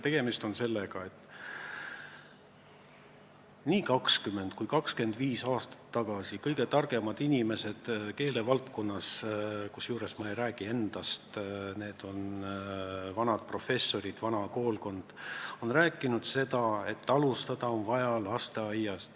Tegemist on sellega, et nii 20 kui 25 aastat tagasi kõige targemad inimesed keelevaldkonnas – ma ei räägi endast, need on vanad professorid, vana koolkond – on rääkinud seda, et alustada on vaja lasteaiast.